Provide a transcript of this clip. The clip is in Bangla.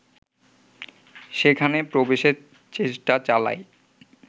সেখানে প্রবেশের চেষ্টা চালায়